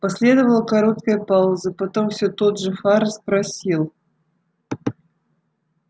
последовала короткая пауза потом всё тот же фара спросил